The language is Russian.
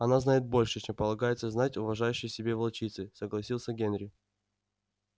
она знает больше чем полагается знать уважающей себя волчице согласился генри